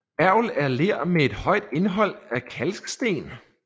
Mergel er ler med et højt indhold af kalksten